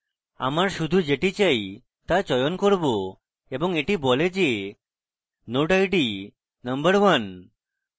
আমার শুধু যেটি চাই তা চয়ন করব এবং এটা বলে যে এটি node id number 1